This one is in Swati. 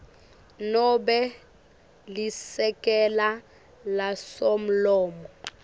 nobe lisekela lasomlomo